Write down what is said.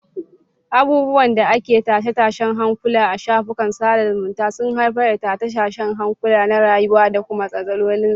Abubuwan da ake tashe-tashen hankula a shafukan sada zumunta sun haifar da tashe-tashen hankula na rayuwa da kuma matsalolin tsaro.